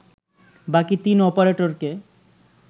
বাকি তিন অপারেটরকে